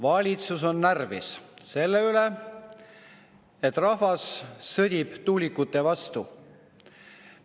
Valitsus on närvis selle üle, et rahvas sõdib tuulikute vastu.